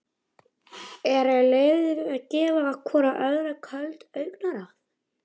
Eru liðin að gefa hvoru öðru köld augnaráð?